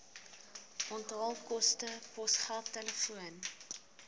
onthaalkoste posgeld telefoon